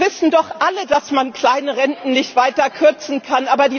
Wir wissen doch alle, dass man kleine Renten nicht weiter kürzen kann.